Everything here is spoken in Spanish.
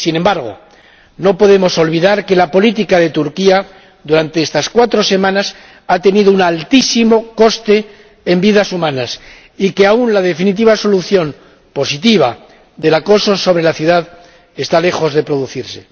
Sin embargo, no podemos olvidar que la política de Turquía durante estas cuatro semanas ha tenido un altísimo coste en vidas humanas y que la definitiva solución positiva del acoso sobre la ciudad está aún lejos de producirse.